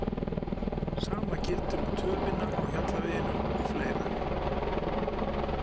Sama gildir um töfina á Hjallaveginum og fleira.